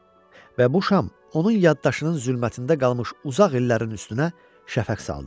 Və bu şam onun yaddaşının zülmətində qalmış uzaq illərin üstünə şəfəq saldı.